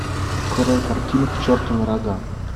открой картину к черту на рога